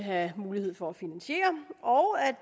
have mulighed for at finansiere og at